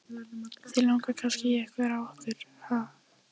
Þig langar kannski í einhvern af okkur, ha?